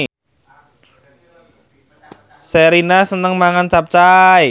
Sherina seneng mangan capcay